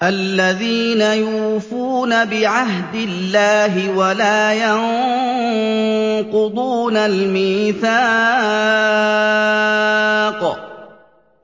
الَّذِينَ يُوفُونَ بِعَهْدِ اللَّهِ وَلَا يَنقُضُونَ الْمِيثَاقَ